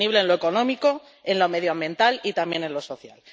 Sostenible en lo económico, en lo medioambiental y también en lo social.